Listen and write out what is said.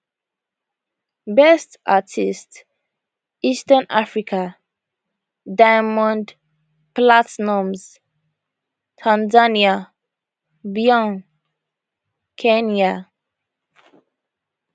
best artist eastern africa diamond platnumz tanzania bien kenya